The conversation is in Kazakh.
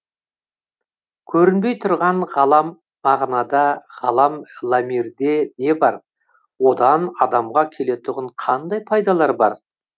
көрінбей тұрған ғалам мағынада ғалам ламирде не бар одан адамға келетұғын қандай пайдалар бар